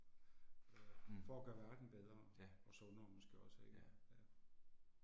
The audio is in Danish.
Mh. Ja. Ja